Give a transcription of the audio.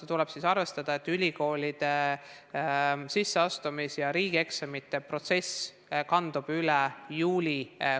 Aga siis tuleb arvestada, et ülikoolide sisseastumis- ja riigieksamite protsess kandub üle juulikuusse.